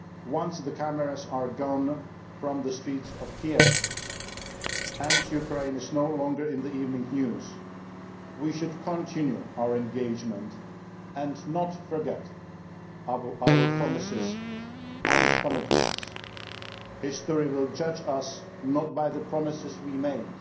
Once the cameras are gone from the streets of Kiev and Ukraine is no longer in the evening news, we should continue our engagement and not forget our promises and commitments. History will judge us not by the promises we make,